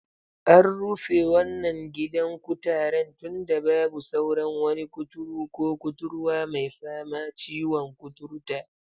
A rufe wannan gidan kutaren tunda babu sauran wani kuturu ko kuturwa mai fama ciwon kuturta